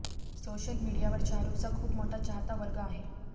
social मीडियावर शाहरुखचा खूप मोठा चाहता वर्ग आहे